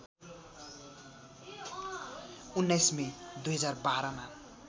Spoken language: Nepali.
१९ मे २०१२ मा